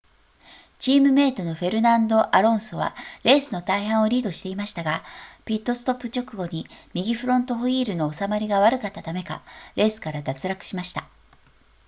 チームメイトのフェルナンドアロンソはレースの大半をリードしていましたがピットストップ直後に右フロントホイールの収まりが悪かったためかレースから脱落しました